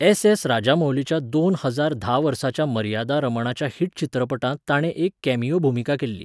SS. राजामौलीच्या दोन हजार धा वर्साच्या मर्यादा रमणाच्या हिट चित्रपटांत ताणें एक कॅमियो भुमिका केल्ली.